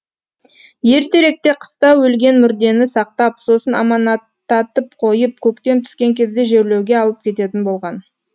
ертеректе қыста өлген мүрдені сақтап сосын аманаттатып қойып көктем түскен кезде жерлеуге алып кететін болған